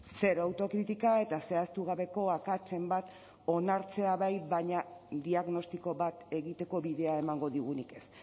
zero autokritika eta zehaztu gabeko akatsen bat onartzea bai baina diagnostiko bat egiteko bidea emango digunik ez